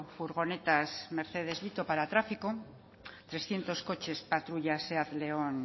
furgonetas mercedes vito para tráfico trescientos coches patrullas seat león